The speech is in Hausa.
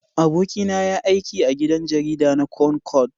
Abokina ya yi aiki a gidan jarida na Concord.